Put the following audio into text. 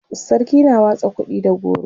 sarki na watsa kuɗi da goro